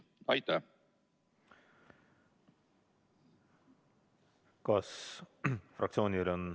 Aitäh!